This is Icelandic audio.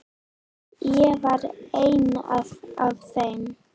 Ég var ein af þeim.